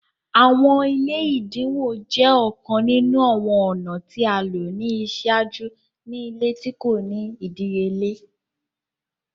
Awọn ile ẹdinwo jẹ ọkan ninu awọn ọna ti a lo ni iṣaaju ni ile ti ko ni idiyele.